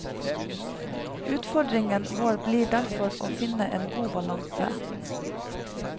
Utfordringen vår blir derfor å finne en god balanse.